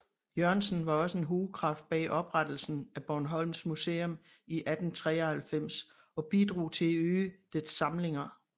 Jørgensen var også en hovedkraft bag oprettelsen af Bornholms Museum i 1893 og bidrog til at øge dets samlinger